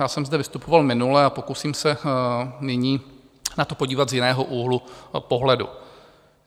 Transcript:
Já jsem zde vystupoval minule a pokusím se nyní na to podívat z jiného úhlu pohledu.